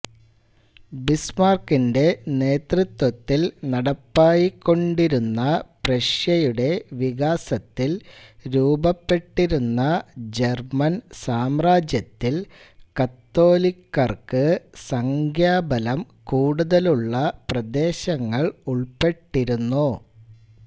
ബിസ്മാർക്കിന്റെ നേതൃത്വത്തിൽ നടപ്പായിക്കൊണ്ടിരുന്ന പ്രഷ്യയുടെ വികാസത്തിൽ രൂപപ്പെട്ടിരുന്ന ജർമ്മൻ സാമ്രാജ്യത്തിൽ കത്തോലിക്കർക്ക് സംഖ്യാബലം കൂടുതലുള്ള പ്രദേശങ്ങൾ ഉൾപ്പെട്ടിരുന്നു